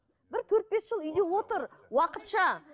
бір төрт бес жыл үйде отыр уақытша